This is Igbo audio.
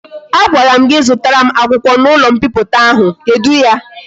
A gwara m gi zutara m akwukwo na ulo mpiputa ahu, kedu ya?